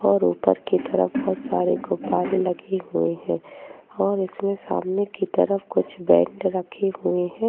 और उपर की तरफ बहोत सारे गुब्बारे लगे हुए हैं और इसमें सामने की तरफ कुछ बैंड रखे हुए हैं।